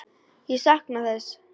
Ég sakna þess.